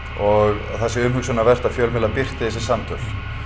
og það sé umhugsunarvert að fjölmiðlar birti þessi samtöl